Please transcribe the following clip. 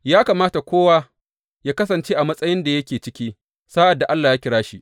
Ya kamata kowa yă kasance a matsayin da yake ciki sa’ad da Allah ya kira shi.